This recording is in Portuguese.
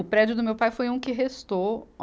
O prédio do meu pai foi um que restou.